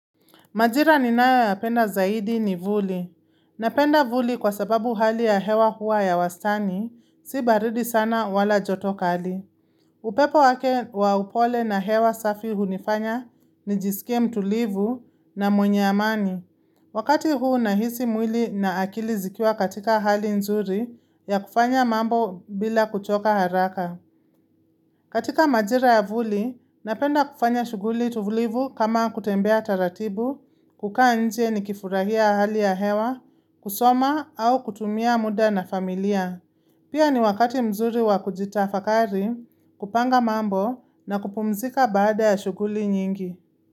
Majira ninayoyapenda zaidi ni vuli. Napenda vuli kwa sababu hali ya hewa hua ya wastani, si baridi sana wala joto kali. Upepo wake wa upole na hewa safi hunifanya nijisike mtulivu na mwenye amani. Wakati huu nahisi mwili na akili zikwa katika hali nzuri ya kufanya mambo bila kuchoka haraka. Katika majira ya vuli, napenda kufanya shughuli tulivu kama kutembea taratibu, kukaa nje nikifurahia hali ya hewa, kusoma au kutumia muda na familia. Pia ni wakati mzuri wa kujitafakari, kupanga mambo na kupumzika baada ya shughuli nyingi.